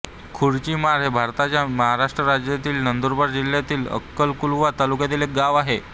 खुरचीमाळ हे भारताच्या महाराष्ट्र राज्यातील नंदुरबार जिल्ह्यातील अक्कलकुवा तालुक्यातील एक गाव आहे